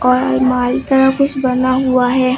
और अलमारी तरह कुछ बना हुआ है।